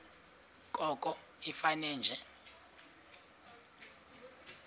koko ifane nje